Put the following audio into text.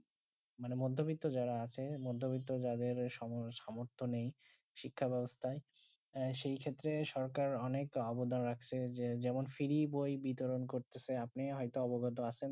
মানে মধুমিতা যারা আছে মথমিতা যাদের সমর্থ নেই শিক্ষা বেবস্ট্যা সেই ক্ষেত্রে সরকার অনেক আবদা রাখছে যেমন ফ্রি বই বিতরণ করছে আপনি হয়তো অবগত আচেন